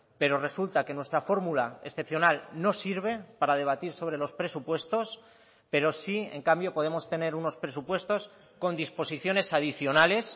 pero resulta que nuestra fórmula excepcional no sirve para debatir sobre los presupuestos pero sí en cambio podemos tener unos presupuestos con disposiciones adicionales